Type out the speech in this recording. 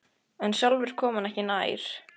En sjálfur kom hann ekki nær.